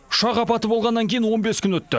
ұшақ апаты болғаннан кейін он бес күн өтті